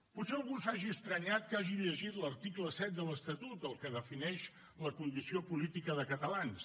potser algú s’ha estranyat que hagi llegit l’article set de l’estatut el que defineix la condició política de catalans